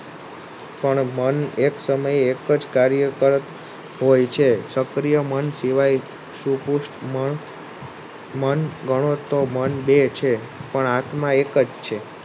પણ મન એક સમયે એક જ કાર્ય કરતુ હોય છે સુપુષ્ઠ મન મન શિવાય ગણો તો મન બે છે પણ આત્મા એક જ છે.